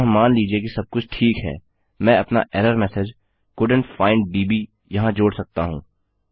अतः मान लीजिए कि सबकुछ ठीक है मैं अपना एरर मेसेज कोल्डेंट फाइंड दब् यहाँ जोड़ सकता हूँ